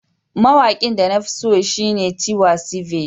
Mawaƙin da na fi so shine Tiwa Savage.